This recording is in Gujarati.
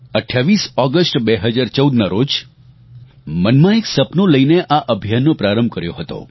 28 ઓગસ્ટ 2014ના રોજ મનમાં એક સપનું લઇને આ અભિયાનનો પ્રારંભ કર્યો હતો